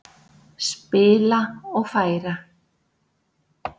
Spila og færa.